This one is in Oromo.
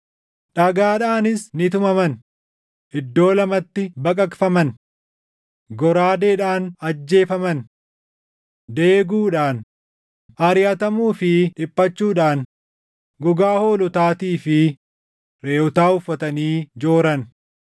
Dhagaadhaanis ni tumaman; iddoo lamatti baqaqfaman; goraadeedhaan ajjeefaman. Deeguudhaan, ariʼatamuu fi dhiphachuudhaan gogaa hoolotaatii fi reʼootaa uffatanii jooran;